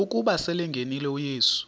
ukuba selengenile uyesu